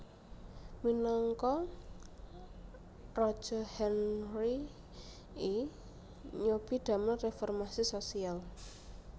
Minangka raja Henry I nyobi damel reformasi sosial